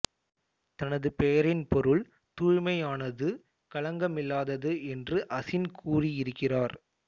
தனது பெயரின் பொருள் தூய்மையானது களங்கமில்லாதது என்று அசின் கூறியிருக்கிறார்